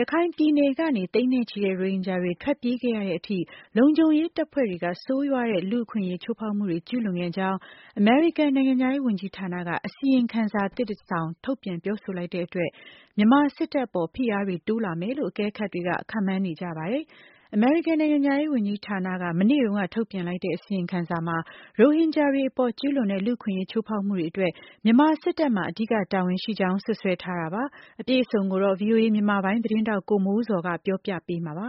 ရခိုင်ပြည်နယ်ကနေ သိန်းနဲ့ချီတဲ့ ရိုဟင်ဂျာတွေ ထွက်ပြေးခဲ့ရတဲ့အထိ လုံခြုံရေးတပ်ဖွဲ့တွေက ဆိုးရွားတဲ့ လူ့အခွင့်အရေး ချိုးဖောက်မှုတွေ ကျုးလွန်ခဲ့ကြောင်း အမေရိကန် နိုင်ငံခြားရေးဝန်ကြီးဌာနက အစီရင်ခံစာသစ်တစောင် ထုတ်ပြန် ပြောဆိုလိုက်တဲ့အတွက် မြန်မာစစ်တပ်အပေါ် ဖိအားတွေ တိုးလာမယ်လို့ အကဲခတ်တွေ ခန့်မှန်းနေကြပါတယ်။ အမေရိကန် နိုင်ငံခြားရေးဝန်ကြီးဌာနက မနေ့တုန်းက ထုတ်ပြန်လိုက်တဲ့ အစီရင်ခံစာမှာ ရိုဟင်ဂျာတွေအပေါ် ကျုးလွန်တဲ့ လူ့အခွင့်အရေး ချိုးဖောက်မှုတွေအတွက် မြန်မာစစ်တပ်မှာ အဓိကတာဝန်ရှိကြောင်း စွပ်စွဲထားတာပါ။ အပြည့်အစုံကိုတော့ ဗွီအိုအေမြန်မာပိုင်းသတင်းထောက် ကိုမိုးဇော်က ပြောပြပေးမှာ ဖြစ်ပါတ